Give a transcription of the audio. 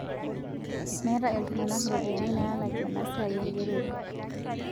Meeta ltung'ana ropiyiani nalakie enaa sia engerore